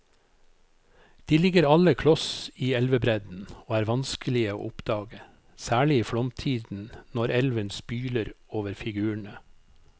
De ligger alle kloss i elvebredden og er vanskelige å oppdage, særlig i flomtiden når elven spyler over figurene.